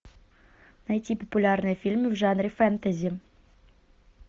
найти популярные фильмы в жанре фэнтези